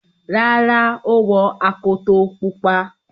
Rárá, ó wọ akoto pupa.